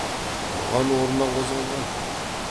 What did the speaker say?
тұрған орнынан қозғалған жоқ